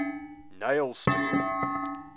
nylstroom